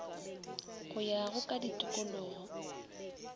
go ya go ka ditikologo